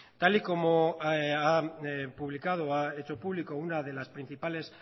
tal y como ha publicado ha hecho público una de las principales